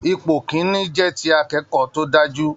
Ipò kìn-ín-ní jẹ́ ti akẹ́kọ̀ọ́ tó dáa jù